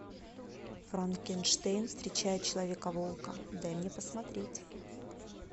франкенштейн встречает человека волка дай мне посмотреть